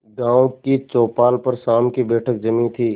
गांव की चौपाल पर शाम की बैठक जमी थी